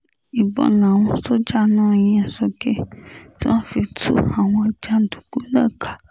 ìbọn làwọn sójà náà yín sókè tí wọ́n fi tú àwọn jàǹdùkú náà ká